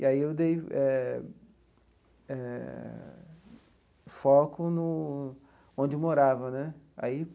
E aí eu dei eh eh foco no onde eu morava né aí.